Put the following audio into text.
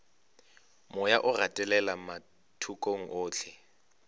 moya o gatelela mathokong ohle